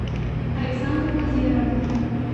александрой владимировной